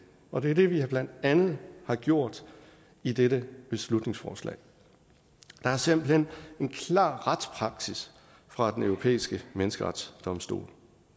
og det er det vi blandt andet har gjort i dette beslutningsforslag der er simpelt hen en klar retspraksis fra den europæiske menneskerettighedsdomstol